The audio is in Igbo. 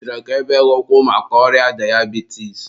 ị chọrọ ka e bee gị ụkwụ maka ọrịa dayabitis?